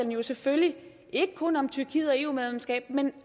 jo selvfølgelig ikke kun om tyrkiet og eu medlemskab men